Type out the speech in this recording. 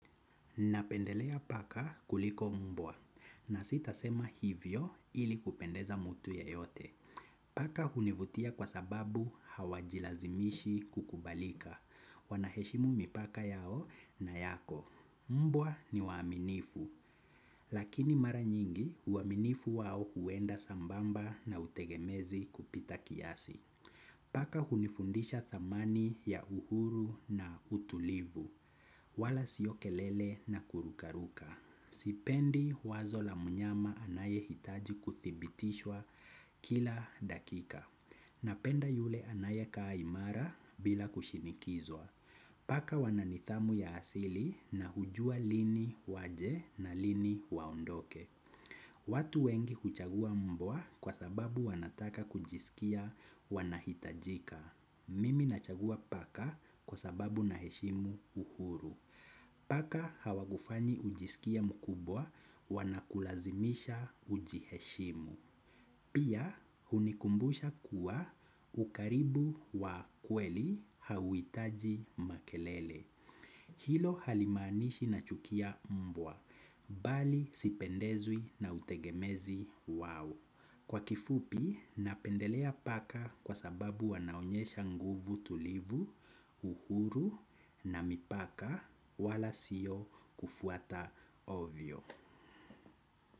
Napendelea paka kuliko mbwa na sitasema hivyo ili kupendeza mtu ya yote. Paka hunivutia kwa sababu hawajilazimishi kukubalika. Wanaheshimu mipaka yao na yako. Mbwa ni waaminifu, lakini mara nyingi uaminifu wao huenda sambamba na utegemezi kupita kiasi. Paka hunifundisha thamani ya uhuru na utulivu, wala siokelele na kurukaruka. Sipendi wazo la mnyama anaye hitaji kuthibitishwa kila dakika. Napenda yule anaye kaa imara bila kushinikizwa. Paka wananithamu ya asili na hujua lini waje na lini waondoke. Watu wengi huchagua mbwa kwa sababu wanataka kujisikia wanahitajika. Mimi nachagua paka kwa sababu naheshimu uhuru. Paka hawakufanyi ujisikie mkubwa wanakulazimisha ujiheshimu. Pia hunikumbusha kuwa ukaribu wa kweli hauhitaji makelele. Hilo halimaanishi na chukia mbwa. Bali sipendezwi na utegemezi wao. Kwa kifupi napendelea paka kwa sababu wanaonyesha nguvu tulivu, uhuru na mipaka wala sio kufuata ovyo.